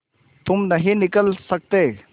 तुम नहीं निकल सकते